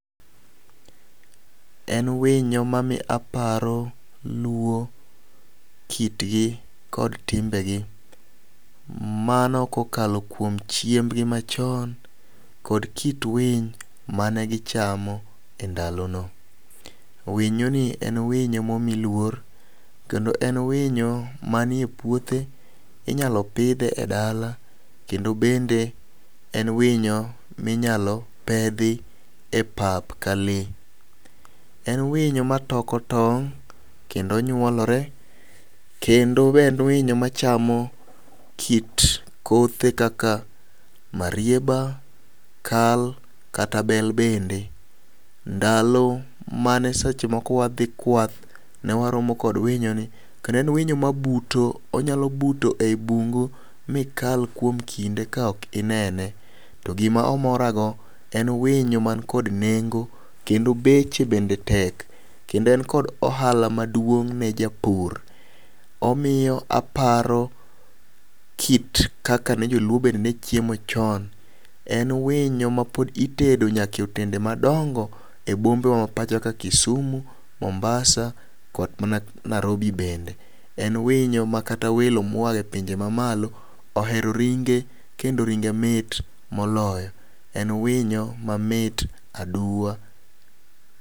En winyo ma miyo aparo luo kit gi kod timbegi mano kokalo kuom chiemb gi machon kod kit winy mane gichamo e ndalono. Winyo ni en winyo momi luor kendo en winyo manie puothe, inyalo pidhe e dala kendo bende en winyo minyalo pedhi e pap ka lee. En winyo ma toko tong' kendo nyuolore kendo be en winyo machamo kit kothe kaka marieba, kal kata bel bende. Ndalo mane seche moko wadhi kwath ,ne waromo kod winyo ni kendo en winyi mabuto, onyalo buto e bungu mikal kuom kinde ka ok ineno. To gima omoora go en winyo man kod nengo kendo beche bende tek kendo en kod ohala maduong' ne japur. Omiyo aparo kit kaka ne joluo bende ne chiemo chon. En winyo ma pod itedo nyake otende madongo e bombe wa ma pacho ka kisumu ,mombasa kod mana Narobi bende. En winyo ma kata welo moa pinje mamalo ohero ringe kendo ringe mit moloyo en winyo mamit aduwa .